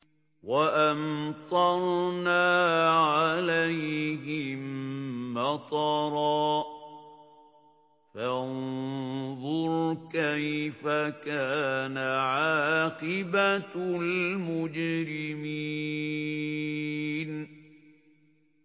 وَأَمْطَرْنَا عَلَيْهِم مَّطَرًا ۖ فَانظُرْ كَيْفَ كَانَ عَاقِبَةُ الْمُجْرِمِينَ